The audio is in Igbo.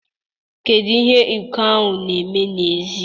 Kedu ihe iko ahụ na-eme n'èzí?